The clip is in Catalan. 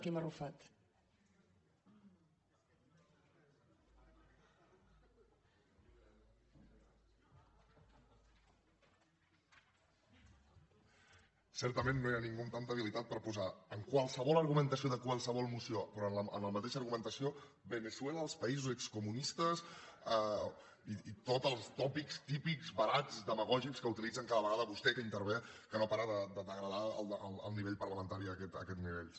certament no hi ha ningú amb tanta habilitat per posar en qualsevol argumentació de qualsevol moció però amb la mateixa argumentació veneçuela els països excomunistes i tots els tòpics típics barats demagògics que utilitzen cada vegada vostè que intervé que no para de degradar el nivell parlamentari a aquests nivells